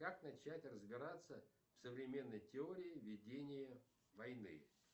как начать разбираться в современной теории ведения войны